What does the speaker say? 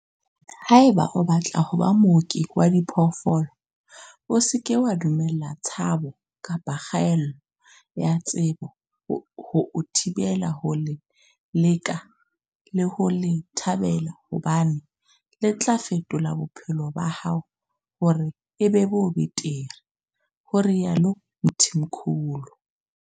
"Haeba o batla ho ba mooki wa diphoofolo, o se ke wa dumella tshabo kapa kgaello ya tsebo ho o thibela ho le leka le ho le thabela hobane le tla fetola bophelo ba hao hore e be bo betere," ho rialo Mthimkhulu.